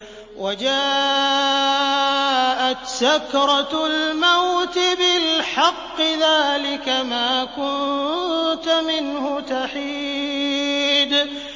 وَجَاءَتْ سَكْرَةُ الْمَوْتِ بِالْحَقِّ ۖ ذَٰلِكَ مَا كُنتَ مِنْهُ تَحِيدُ